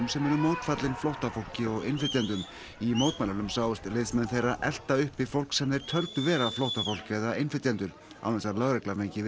sem eru mótfallin flóttafólki og innflytjendum í mótmælunum sáust liðsmenn þeirra elta uppi fólk sem þeir töldu vera flóttafólk eða innflytjendur án þess að lögregla fengi